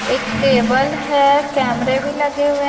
एक टेबल है कैमरे भी लगे हुए--